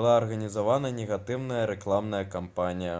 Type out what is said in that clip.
была арганізавана негатыўная рэкламная кампанія